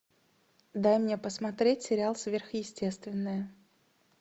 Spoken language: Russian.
дай мне посмотреть сериал сверхъестественное